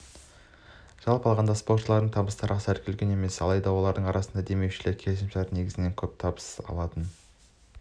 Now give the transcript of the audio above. жалпы алғанда спортшыларының табыстары аса үлкен емес алайда олардың арасында демеушілермен келісімшарт негізінде көп табыс табатын